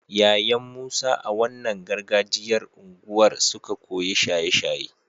yayan musa a wannan gargajiyar unguwar suka koyi shaye shaye